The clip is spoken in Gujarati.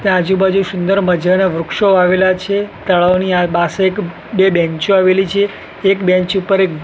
તા આજુ બાજુ સુંદર મઝાના વૃક્ષો આવેલા છે તળાવની આ બાસે એક બે બેંચો આવેલી છે એક બેંચ ઉપર એક--